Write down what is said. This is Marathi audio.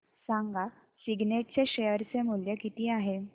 सांगा सिग्नेट चे शेअर चे मूल्य किती आहे